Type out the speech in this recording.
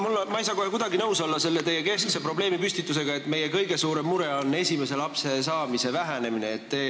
Aga ma ei saa kohe kuidagi nõus olla teie keskse probleemipüstitusega, nagu meie kõige suurem mure oleks esimese lapse saamise vähenemine.